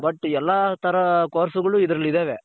but ಎಲ್ಲಾ ತರ courseಗಳು ಇದರಲ್ಲಿ ಇದ್ದಾವೆ .